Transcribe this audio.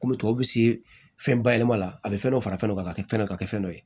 Kɔmi tɔw bɛ se fɛn bayɛlɛma a bɛ fɛn dɔ fara fɛn dɔ kan ka kɛ fɛn dɔ ka kɛ fɛn dɔ ye